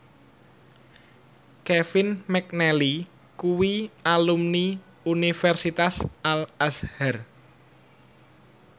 Kevin McNally kuwi alumni Universitas Al Azhar